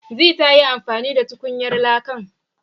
Zee ta yi amfani da tukunyar lakan